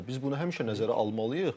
Və biz bunu həmişə nəzərə almalıyıq.